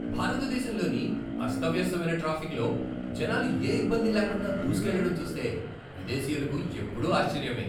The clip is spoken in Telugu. భారతదేశంలోని అస్తవ్యస్తమైన ట్రాఫిక్లో జనాలు ఏ ఇబ్బంది లేకుండా దూసుకెళ్లడం చూస్తే విదేశీయులకు ఎప్పుడూ ఆశ్చర్యమే!